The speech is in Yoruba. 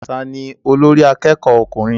Ta ní olórí akẹ́kọ̀ọ́ ọkùnrin?